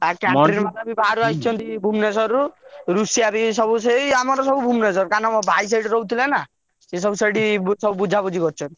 ବାହାରୁ ଆସିଛନ୍ତି ଭୁବନେଶ୍ବରଋ ଋଷିଆ ବି ସବୁ ସେଇ ଆମର ସବୁ ସେଇ ଭୁବନେଶ୍ବରରୁ କାହିଁକି ନା ମୋ ଭାଇ ରହୁଥିଲେ ସେଠୀ ନା ସେ ସବୁ ସେଇଠି ବୁଝା ବୁଝି କରୁଛନ୍ତି।